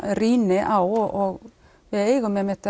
rýni á og